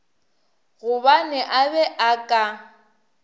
gobane a be a ka